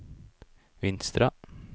Vinstra